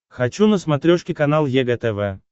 хочу на смотрешке канал егэ тв